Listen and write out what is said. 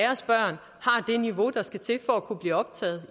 niveau der skal til for at kunne blive optaget